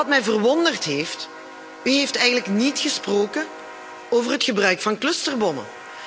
Maar wat mij verwonderd heeft u hebt eigenlijk niet gesproken over het gebruik van clusterbommen.